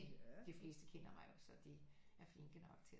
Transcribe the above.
De fleste kender mig jo så de er flinke nok til